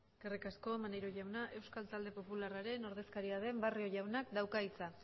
eskerrik asko maneiro jauna euskal talde popularraren ordezkaria den barrio jaunak dauka hitza